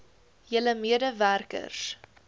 julle mede werkers